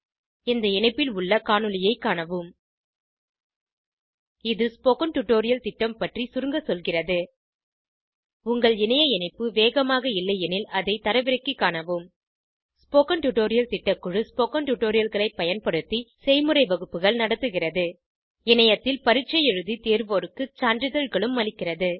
இந்த இணைப்பில் உள்ள காணொளியைக் காணவும் இது ஸ்போகன் டுடோரியல் திட்டம் பற்றி சுருங்க சொல்கிறது உங்கள் இணைய இணைப்பு வேகமாக இல்லையெனில் அதை தரவிறக்கிக் காணவும் ஸ்போகன் டுடோரியல் திட்டக்குழு ஸ்போகன் டுடோரியல்களைப் பயன்படுத்தி செய்முறை வகுப்புகள் நடத்துகிறது இணையத்தில் பரீட்சை எழுதி தேர்வோருக்கு சான்றிதழ்களும் அளிக்கிறது